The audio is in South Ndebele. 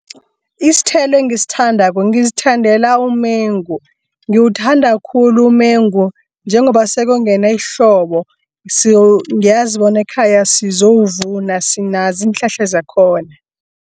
Isithelo engisithandako, ngizithandela umengu. Ngiyawuthanda khulu umengu njengoba sekuyongena ihlobo. Ngiyazibona ekhaya sizowuvuna, sinazi iinhlahla zakhona.